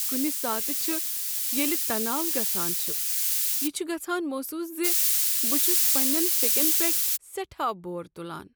کنہ ساتہٕ چھ ییلہٕ تناو گژھان چھ، یہ چھ گژھان محسوس ز بہٕ چھس پنٛنین فیکین پیٹھ سٹھاہ بور تلان۔